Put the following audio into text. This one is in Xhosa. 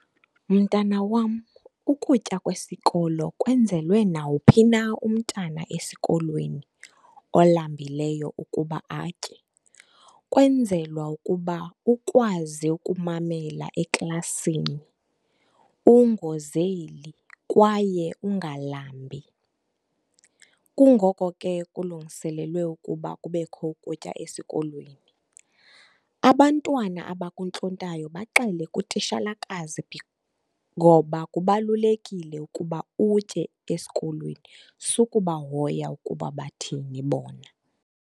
Mntana wam, ukutya kwesikolo kwenzelwe nawuphi na umntana esikolweni olambileyo ukuba atye. Kwenzelwa ukuba ukwazi ukumamela eklasini, ungozeli kwaye ungalambi. Kungoko ke kulungiselelwe ukuba kubekho ukutya esikolweni. Abantwana abakuntlontayo baxele kutishalakazi ngoba kubalulekile ukuba utye esikolweni. Sukubahoya ukuba bathini bona.